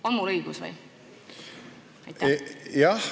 On mul õigus?